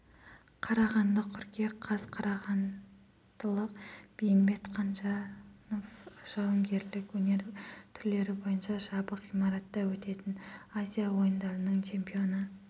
қарағанды қыркүйек қаз қарағандылық бейімбет қанжанов жауынгерлік өнер түрлері бойынша жабық ғимаратта өтетін азия ойындарының чемпионы